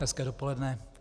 Hezké dopoledne.